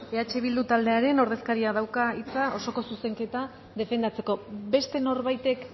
eh bildu taldearen ordezkariak dauka hitza osoko zuzenketa defendatzeko beste norbaitek